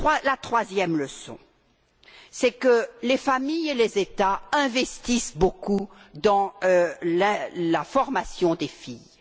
La troisième leçon, c'est que les familles et les États investissent beaucoup dans la formation des filles.